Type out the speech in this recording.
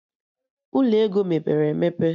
Ụlọ ego mepere emepe